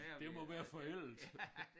Det må være forældet